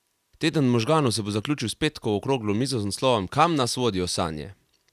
Teden možganov se bo zaključil s petkovo okroglo mizo z naslovom Kam nas vodijo sanje?